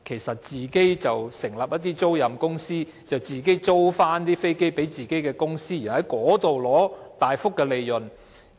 是否成立一些租賃公司，把飛機租給自己的公司，從中取得大幅利潤？